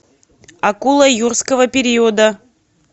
акула юрского периода